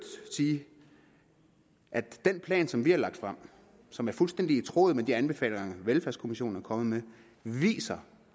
sige at den plan som vi har lagt frem og som er fuldstændig i tråd med de anbefalinger velfærdskommissionen er kommet med viser